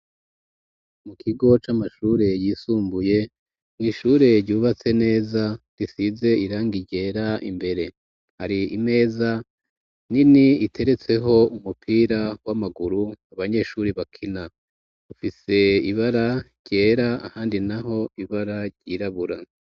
Mu kigo, c'amashure yisumbuye, mw'ishure, ryubatse neza, risize irangi ryera imbere; hari imeza, nini, iteretseho umupira, w'amaguru, abanyeshuri bakina; ufise ibara ryera, ahandi naho, ibara ryirabura.